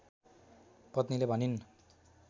पत्नीले भनिन्